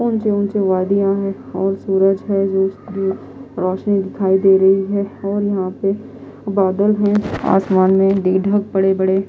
ऊंचे ऊंचे वादियां हैंऔर सूरज हैजो रोशनी दिखाई दे रही हैऔर यहां पे बादल हैआसमान मेंढक बड़े-बड़े--